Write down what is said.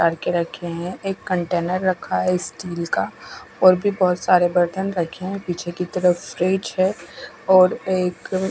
टंकी रखी है एक कंटेनर रख अहि स्टील का और भी बोहोत सारे बर्तन रखे है पीछे की तरफ स्टेज है और एक--